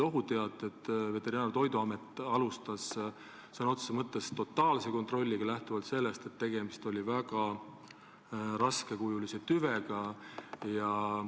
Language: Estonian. Ohuteadete peale alustas Veterinaar- ja Toiduamet sõna otses mõttes totaalset kontrolli, kuna tegemist oli väga ohtliku tüvega.